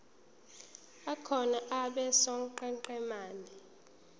akhona abe sonqenqemeni